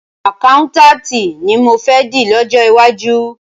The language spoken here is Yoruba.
Àkáùntànti ni mọ fẹ́ di lọ́jọ́ iwájú.